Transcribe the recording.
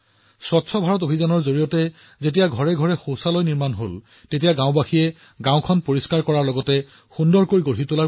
যেতিয়া স্বচ্ছ ভাৰত অভিযানৰ অধীনত সকলোৰে ঘৰত শৌচালয় নিৰ্মাণ কৰা হৈছিল গাওঁবাসীয়ে ভাবিছিল যে গাওঁখন পৰিষ্কাৰ কৰাৰ লগতে সুন্দৰো কৰা নহওকনো কিয়